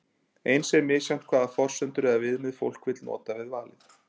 Eins er misjafnt hvaða forsendur eða viðmið fólk vill nota við valið.